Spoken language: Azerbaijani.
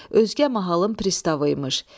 Özgə mahalın pristavı imiş.